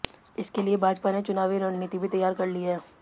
इसके लिए भाजपा ने चुनावी रणनीति भी तैयार कर ली है